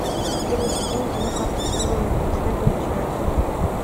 первый сезон кино карточный домик последняя часть